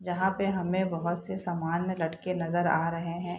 जहाँ पे हमें बहुत से सामान लटके नजर आ रहें हैं।